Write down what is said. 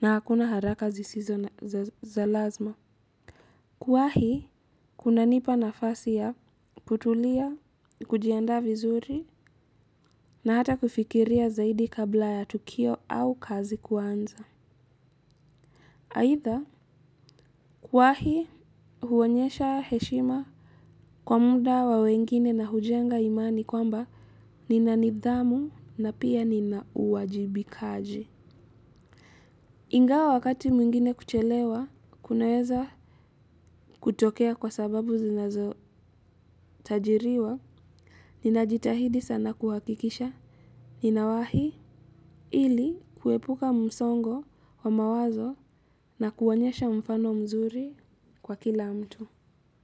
na hakuna haraka zisizo za lazima. Kuwahi kunanipa nafasi ya kutulia, kujiandaa vizuri na hata kufikiria zaidi kabla ya tukio au kazi kuanza. Aidha, kuwahi huonyesha heshima kwa muda wa wengine na hujenga imani kwamba nina nidhamu na pia nina uwajibikaji. Ingawa wakati mwingine kuchelewa, kunaweza kutokea kwa sababu zinazotajiriwa, ninajitahidi sana kuhakikisha, ninawahi ili kuepuka msongo wa mawazo na kuonyesha mfano mzuri kwa kila mtu.